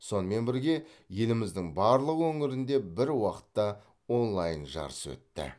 сонымен бірге еліміздің барлық өңірінде бір уақытта онлайн жарыс өтті